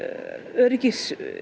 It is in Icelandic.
öryggi